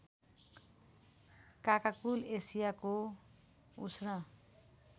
काकाकुल एसियाको उष्ण